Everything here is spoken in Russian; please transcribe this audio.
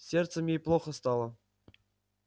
с сердцем ей плохо стало